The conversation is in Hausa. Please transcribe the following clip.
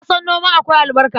Na san noma akwai albarka.